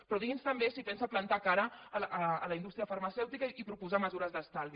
però digui’ns també si pensa plantar cara a la indústria farmacèutica i proposar mesures d’estalvi